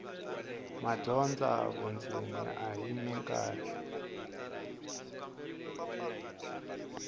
madyondza vundzeni a hi mikarhi